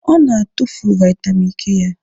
Ọ na-atụfu vitamin K ya.